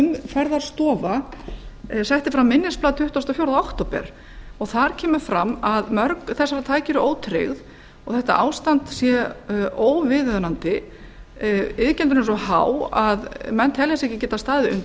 að umferðarstofa setti fram minnisblað tuttugasta og fjórða október og þar kemur fram að mörg þessara tækja eru ótryggð og þetta ástand sé óviðunandi iðgjöldin eru svo há að menn telja sig ekki geta staðið undir